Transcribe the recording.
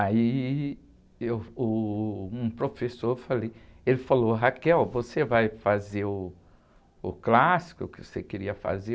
Aí, eu, o, um professor falei, ele falou, você vai fazer o clássico que você queria fazer?